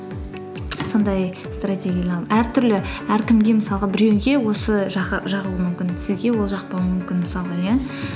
сондай әртүрлі әркімге мысалға біреуге осы жағуы мүмкін сізге ол жақпауы мүмкін мысалға иә